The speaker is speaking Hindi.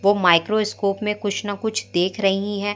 वो माइक्रोस्कोप में कुछ न कुछ देख रही है।